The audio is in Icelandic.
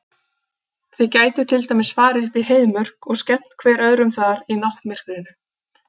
Þið gætuð til dæmis farið upp í Heiðmörk og skemmt hver öðrum þar í náttmyrkrinu.